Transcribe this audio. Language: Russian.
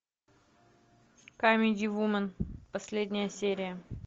камеди вумен последняя серия